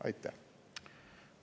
Aitäh!